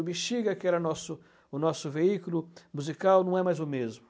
O Bexiga, que era o nosso o nosso veículo musical, não é mais o mesmo.